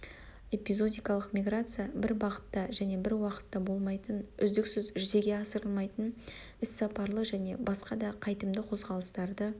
эпизодикалық миграция-бір бағытта және бір уақытта болмайтын үздіксіз жүзеге асырылмайтын іс-сапарлы және басқа да қайтымды қозғалыстарды